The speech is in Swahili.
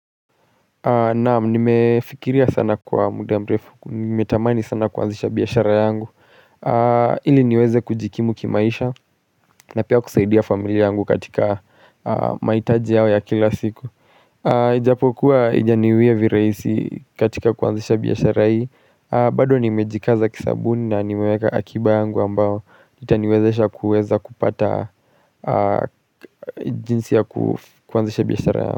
Naamu, nimefikiria sana kwa muda mrefu, nimetamani sana kuanzisha biyashara yangu Ili niweze kujikimu kimaisha na pia kusaidia familia yangu katika mahitaji yao ya kila siku Ijapokuwa ijaniwe viraisi katika kuanzisha biyashara hii bado nimejikaza kisabuni na nimeweka akiba yangu ambao Itaniwezesha kuweza kupata jinsi ya kuanzisha biyashara yangu.